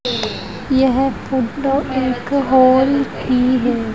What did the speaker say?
यह फोटो एक हॉल की है।